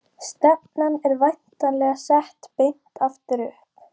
Stefnan er væntanlega sett beint aftur upp?